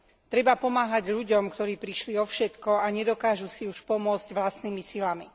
Treba pomáhať ľuďom, ktorí prišli o všetko a nedokážu si už pomôcť vlastnými silami.